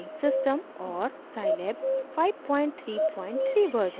और scilab 533 version